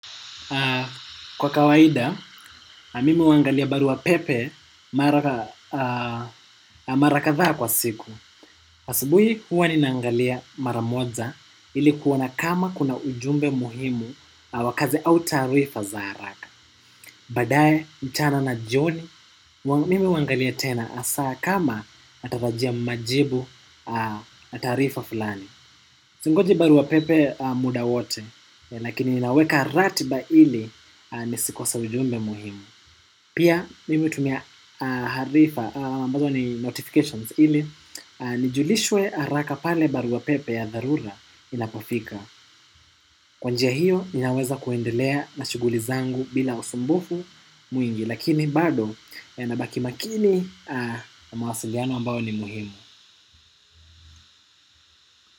Kwa kawaida, mimi huangalia baruapepe mara kadhaa kwa siku. Asubuhi huwa ninaangalia mara moja ili kuona kama kuna ujumbe muhimu wa kazi au taarifa za haraka. Baadae, mchana na joni, mimi huangalia tena hasa kama natarajia majibu taarifa fulani. Singoji baruapepe muda wote, lakini ninaweka ratiba ili nisikose ujumbe muhimu. Pia, mimi hutumia harifa, ambazo ni notifications ili, nijulishwe haraka pale baruapepe ya dharura inapofika. Kwa njia hiyo, ninaweza kuendelea na shughuli zangu bila usumbufu mwingi, lakini bado nabaki makini kwa mawasiliano ambao ni muhimu.